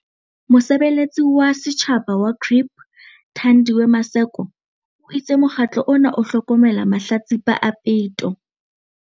Mosebeletsi wa setjhaba wa GRIP, Thandiwe Maseko, o itse mokgatlo ona o hlokomela mahlatsipa a peto.